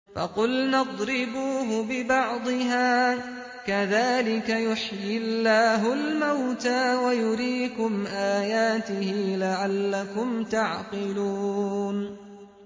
فَقُلْنَا اضْرِبُوهُ بِبَعْضِهَا ۚ كَذَٰلِكَ يُحْيِي اللَّهُ الْمَوْتَىٰ وَيُرِيكُمْ آيَاتِهِ لَعَلَّكُمْ تَعْقِلُونَ